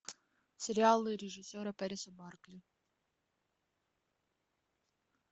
сериалы режиссера пэриса барклай